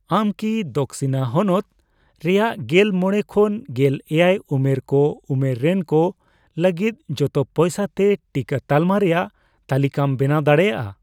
ᱟᱢ ᱠᱤ ᱫᱚᱠᱥᱤᱱᱟ ᱦᱚᱱᱚᱛ ᱨᱮᱭᱟᱜ ᱜᱮᱞ ᱢᱚᱬᱮ ᱠᱷᱚᱱ ᱜᱮᱞ ᱮᱭᱟᱭ ᱩᱢᱮᱨ ᱠᱚ ᱩᱢᱮᱨ ᱨᱮᱱ ᱠᱚ ᱞᱟᱹᱜᱤᱫ ᱡᱚᱛᱚ ᱯᱚᱭᱥᱟ ᱛᱮ ᱴᱤᱠᱟᱹ ᱛᱟᱞᱢᱟ ᱨᱮᱭᱟᱜ ᱛᱟᱹᱞᱤᱠᱟᱢ ᱵᱮᱱᱟᱣ ᱫᱟᱲᱮᱭᱟᱜᱼᱟ ?